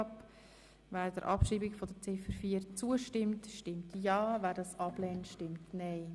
Wer der Abschreibung zustimmt, stimmt ja, wer dies ablehnt, stimmt nein.